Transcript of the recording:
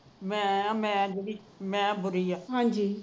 ਮੈ ਹਾ ਮੈ ਹਾ ਮੈ ਬੁਰੀ ਹਾ